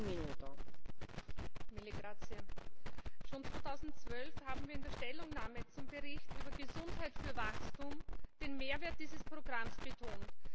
Frau Präsidentin! Schon 2012 haben wir in der Stellungnahme zum Bericht über Gesundheit für Wachstum den Mehrwert dieses Programms betont.